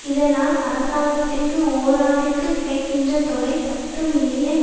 இதனால் அரசாங்கத்திற்கு ஓராண்டிற்கு கிடைக்கின்ற தொகை பத்து மில்லியன்